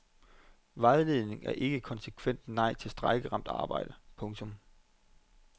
Vejledningen er ikke et konsekvent nej til strejkeramt arbejde. punktum